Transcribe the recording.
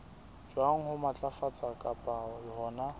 jwang ho matlafatsa kapa hona